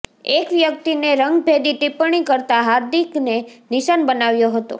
એક વ્યક્તિએ રંગભેદી ટિપ્પણી કરતા હાર્દિકને નિશાન બનાવ્યો હતો